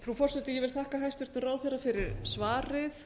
frú forseti ég vil þakka hæstvirtum ráðherra fyrir svarið